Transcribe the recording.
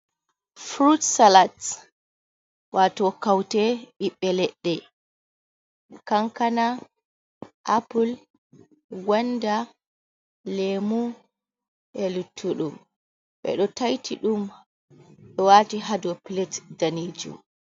Frut salat wato kaute ɓiɓbe ledde kankana apple gonda lemu ,e luttuɗum bedo taiti dum be wati hado plat daneju.